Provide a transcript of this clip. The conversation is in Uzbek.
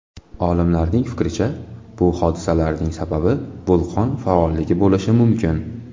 Olimlarning fikricha, bu hodisalarning sababi vulqon faolligi bo‘lishi mumkin.